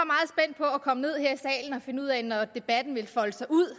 finde ud af når debatten foldede sig ud